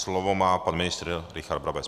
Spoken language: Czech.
Slovo má pan ministr Richard Brabec.